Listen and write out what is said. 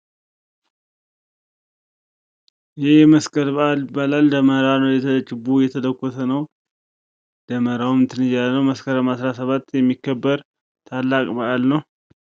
ይህ የመስቀል በአል ደበመራ ችቦው አየተለኮሰ ነው። በመስከረም 17 የሚከበር በአል ነው።